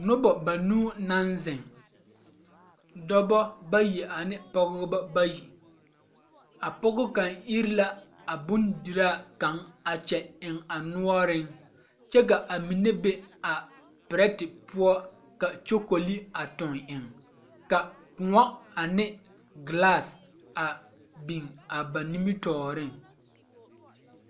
Nobɔ banuu naŋ zeŋ dɔbɔ bayi ane pɔgebɔ bayi a pɔge kaŋ ire la a bondiraa kaŋ kyɛ eŋ a noɔreŋ kyɛ ka a mine be a pirɛte poɔ ka kyokoli a tuŋ eŋ ka kõɔ ane gilas a biŋ a ba nimitooreŋ.